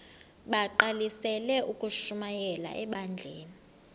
bagqalisele ukushumayela ebandleni